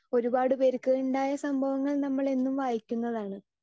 speaker 2 ഒരുപാട് പേർക്ക് ഉണ്ടായ സംഭവങ്ങൾ നമ്മൾ എന്നും വായിക്കുന്നതാണ്